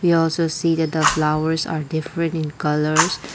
we also see that the flowers are different in colours.